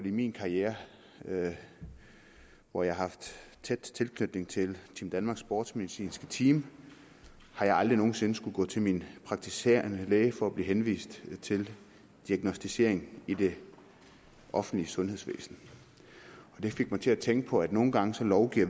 i min karriere hvor jeg har haft tæt tilknytning til team danmarks sportsmedicinske team aldrig nogen sinde har skullet gå til min praktiserende læge for at blive henvist til diagnosticering i det offentlige sundhedsvæsen det fik mig til at tænke på at nogle gange lovgiver